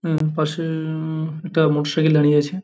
হুম পাশে-এ-এ উম একটা মোটরসাইকেল দাঁড়িয়ে আছে ।